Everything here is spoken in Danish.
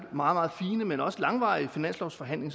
meget fine men også langvarige finanslovsforhandling